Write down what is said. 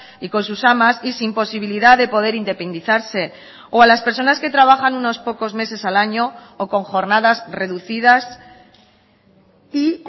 y con sus amas y sin posibilidad de poder independizarse o a las personas que trabajan unos pocos meses al año o con jornadas reducidas y